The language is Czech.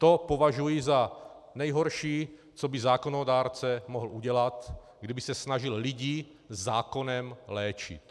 To považuji za nejhorší, co by zákonodárce mohl udělat, kdyby se snažil lidi zákonem léčit.